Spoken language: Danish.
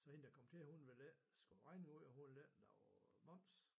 Så hende der kom til hun ville ikke skrive regning ud og hun ville ikke lave moms